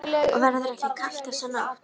Og verður ekki kalt þessa nótt.